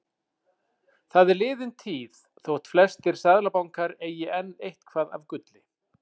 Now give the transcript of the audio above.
Það er liðin tíð þótt flestir seðlabankar eigi enn eitthvað af gulli.